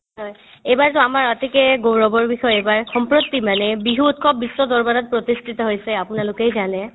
হয়, এইবাৰতো আমাৰ অতিকে গৌৰৱৰ বিষয় এইবাৰ সম্প্ৰতি মানে বিহু উৎসৱ বিশ্ব দৰবাৰত প্ৰতিষ্ঠিত হৈছে আপোনালোকেই জানে